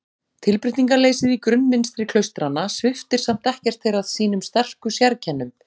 Tilbreytingarleysið í grunnmynstri klaustranna sviptir samt ekkert þeirra sínum sterku sérkennum.